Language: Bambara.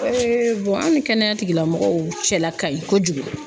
an ni kɛnɛya tigilamɔgɔw cɛla kaɲi kojugu.